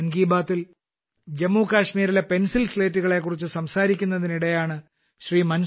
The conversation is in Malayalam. മൻ കി ബാത്തിൽ ജമ്മു കശ്മീരിലെ പെൻസിൽ സ്ലേറ്റുകളെക്കുറിച്ച് സംസാരിക്കുന്നതിനിടെയാണ് ശ്രീ